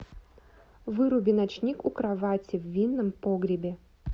выруби ночник у кровати в винном погребе